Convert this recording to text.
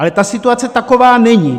Ale ta situace taková není.